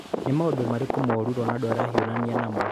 Nĩ maũndũ marĩkũ moru Ronaldo arahiũrania namo?